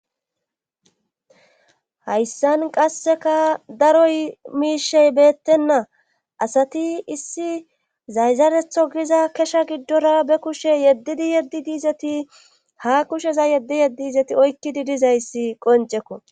hayssan qasseka daroy miishey beettenna asati issi zayzaretho giza kesha giddora be kushe yeddidi yeddi diizeti ha kusheza yeddi yeddi izeti oykkidi dizayssi qoncekko